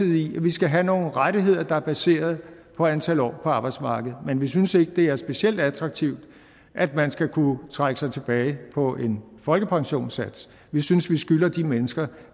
vi skal have nogle rettigheder der er baseret på antal år på arbejdsmarkedet men vi synes ikke det er specielt attraktivt at man skal kunne trække sig tilbage på en folkepensionssats vi synes vi skylder de mennesker